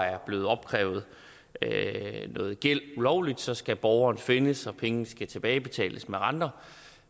er blevet opkrævet noget gæld ulovligt så skal borgeren findes og pengene skal tilbagebetales med renter